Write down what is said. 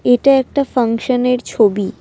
এটা একটা ফাংশনের ছবি।